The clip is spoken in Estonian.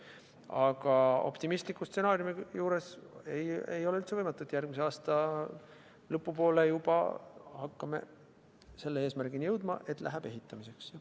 Aga optimistliku stsenaariumi juures ei ole üldse võimatu, et järgmise aasta lõpu poole juba hakkame selle eesmärgini jõudma, et läheb ehitamiseks.